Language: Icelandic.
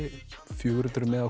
fjögur hundruð miða